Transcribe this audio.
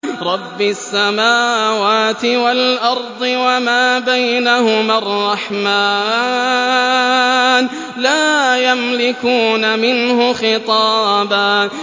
رَّبِّ السَّمَاوَاتِ وَالْأَرْضِ وَمَا بَيْنَهُمَا الرَّحْمَٰنِ ۖ لَا يَمْلِكُونَ مِنْهُ خِطَابًا